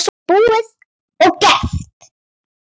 Þetta er búið og gert.